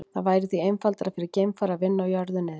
Það væri því einfaldara fyrir geimfara að vinna á jörðu niðri.